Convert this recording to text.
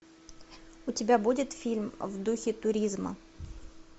у тебя будет фильм в духе туризма